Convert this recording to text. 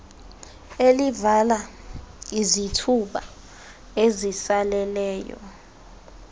elivala izithuba ezisaleleyo